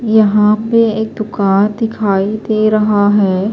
.یحیٰ پی ایک دکان دکھائی دے رہا ہیں